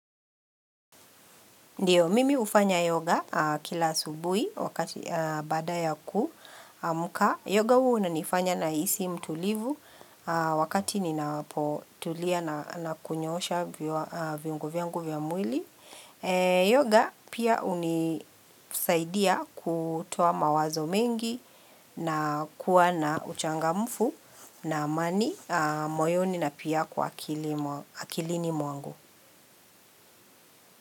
Ndiyo, mimi hufanya yoga kila asubuhi wakati baada ya kuamka. Yoga huwa inanifanya nahisi mtulivu wakati ninapotulia na na kunyoosha viungo vyangu vya mwili. Yoga pia hunisaidia kutoa mawazo mengi na kuwa na uchangamfu na amani moyoni na pia kwa akili mwa akilini mwangu.